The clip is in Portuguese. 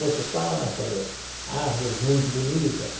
Muitos pássaros, árvores muito bonitas.